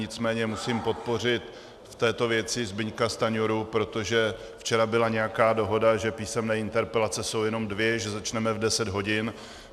Nicméně musím podpořit v této věci Zbyňka Stanjuru, protože včera byla nějaká dohoda, že písemné interpelace jsou jenom dvě, že začneme v 10 hodin.